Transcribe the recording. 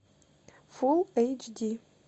фулл эйч ди